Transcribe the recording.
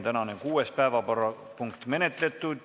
Tänane kuues päevakorrapunkt on menetletud.